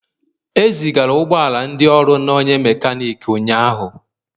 E zigara ụgbọ ala ndị ọrụ na onye mekaniki ụnyahụ.